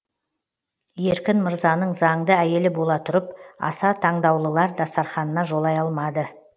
еркін мырзаның заңды әйелі бола тұрып аса таңдаулылар дастарханына жолай алмады